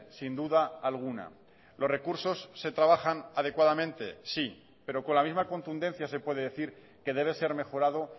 sin duda alguna los recursos se trabajan adecuadamente sí pero con la misma contundencia se puede decir que debe ser mejorado